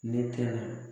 Ne tɛna